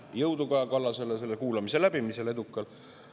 Jõudu Kaja Kallasele selle kuulamise edukal läbimisel!